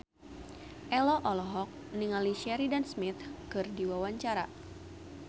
Ello olohok ningali Sheridan Smith keur diwawancara